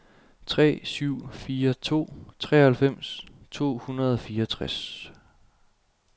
tre syv fire to treoghalvfems to hundrede og fireogtres